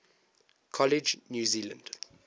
college new zealand